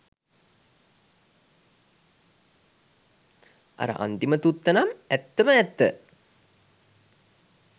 අර අන්තිම තුත්තනම් ඇත්තම ඇත්ත